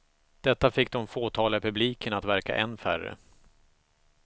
Detta fick de fåtaliga i publiken att verka än färre.